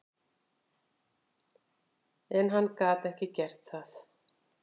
En hann gat ekki gert það.